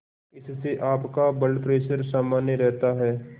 इससे आपका blood pressure सामान्य रहता है